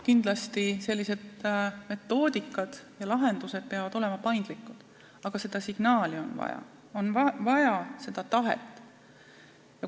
Kindlasti peavad sellised metoodikad ja lahendused olema paindlikud, aga seda signaali on vaja, on vaja tahet.